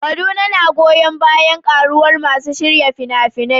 Kaduna na goyon bayan ƙaruwar masu shirya fina-finai.